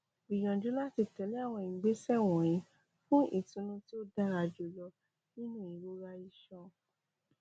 gbiyanju lati tẹle awọn igbesẹ wọnyi fun itunu ti o dara julọ ninu irora iṣan